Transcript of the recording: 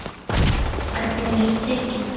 Stefnan er tekin.